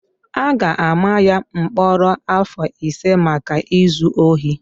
a ga-ama ya mkpọrọ afọ ise maka izu ohi